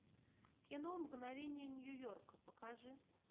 кино мгновения нью йорка покажи